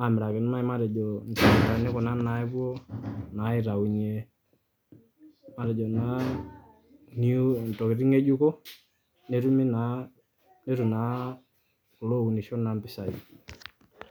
amiraki naai kuna naapuo aitayunye matejo naa intokiting ng'ejuko netumi naanetum naa ilopunisho impisai Naa